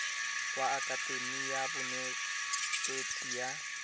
wa akatemi ya bonetetshi ya